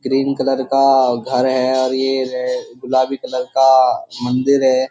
Cream colour का घर है और ये रे गुलाबी कलर का मंदिर है।